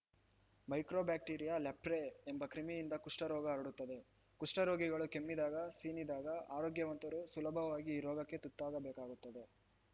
micro bacteria leprae ಎಂಬ ಕ್ರಿಮಿಯಿಂದ ಕುಷ್ಠರೋಗ ಹರಡುತ್ತದೆ ಕುಷ್ಠರೋಗಿಗಳು ಕೆಮ್ಮಿದಾಗ ಸೀನಿದಾಗ ಆರೋಗ್ಯವಂತರು ಸುಲಭವಾಗಿ ಈ ರೋಗಕ್ಕೆ ತುತ್ತಾಗಬೇಕಾಗುತ್ತದೆ